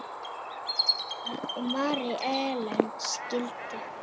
Rúnar og Mary Ellen skildu.